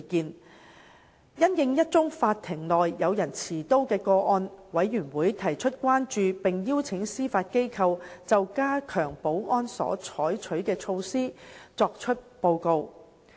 而因應一宗法庭內有人持刀的個案，事務委員會提出關注並邀請司法機構就加強保安所採取的措施作出報告。